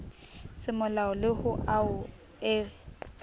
semolao le ho ao e